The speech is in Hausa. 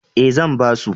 E, zan ba su.